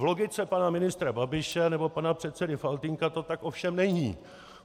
V logice pana ministra Babiše nebo pana předsedy Faltýnka to tak ovšem není.